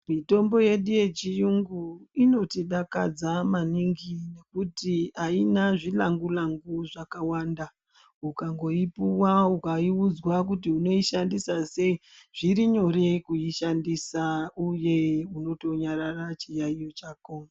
Mitombo yedu yechiyungu inotidakadza maningi nekuti haina zvilangu-langu zvakawanda. Ukangoipuva ukaiudzwa kuti unoishandisa sei, zviri nyore kuishandisa, uye unotonyarara chiyaiyo chako.